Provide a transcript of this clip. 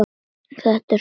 Það er svo kalt.